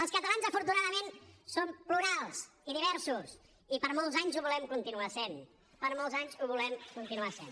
els catalans afortunadament som plurals i diversos i per molts anys ho volem continuar sent per molts anys ho volem continuar sent